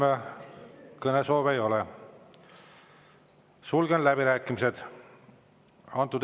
Rohkem kõnesoove ei ole, sulgen läbirääkimised.